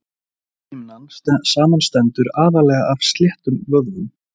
lithimnan samanstendur aðallega af sléttum vöðvum